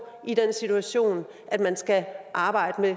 i den situation at man skal arbejde